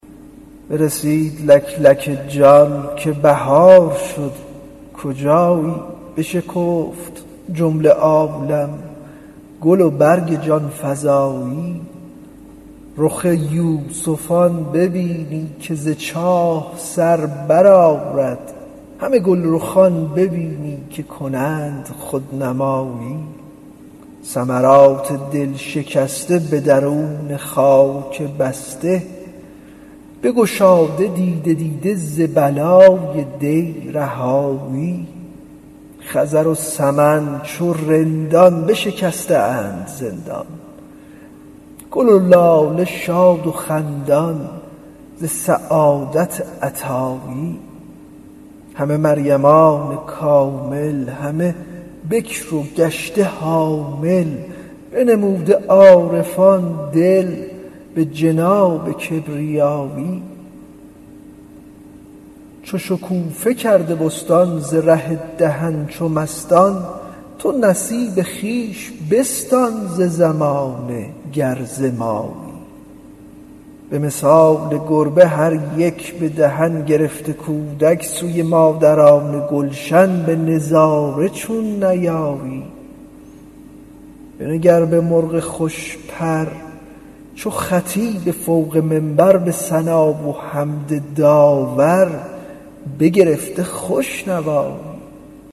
برسید لک لک جان که بهار شد کجایی بشکفت جمله عالم گل و برگ جان فزایی رخ یوسفان ببینی که ز چاه سر برآرد همه گلرخان ببینی که کنند خودنمایی ثمرات دل شکسته به درون خاک بسته بگشاده دیده دیده ز بلای دی رهایی خضر و سمن چو رندان بشکسته اند زندان گل و لاله شاد و خندان ز سعادت عطایی همه مریمان کامل همه بکر و گشته حامل بنموده عارفان دل به جناب کبریایی چو شکوفه کرد به بستان ز ره دهن چو مستان تو نصیب خویش بستان ز زمانه گر ز مایی به مثال گربه هر یک به دهان گرفته کودک سوی مادران گلشن به نظاره چون نیایی بنگر به مرغ خوش پر چو خطیب فوق منبر به ثنا و حمد داور بگرفته خوش نوایی